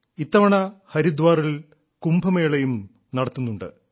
ഇത്തവണ ഹരിദ്വാറിൽ കുംഭമേളയും നടത്തുന്നുണ്ട്